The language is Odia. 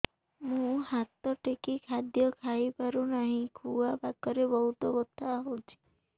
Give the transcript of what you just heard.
ମୁ ହାତ ଟେକି ଖାଦ୍ୟ ଖାଇପାରୁନାହିଁ ଖୁଆ ପାଖରେ ବହୁତ ବଥା ହଉଚି